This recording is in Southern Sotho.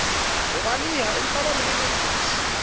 ho balehaempa ba mo lelekisa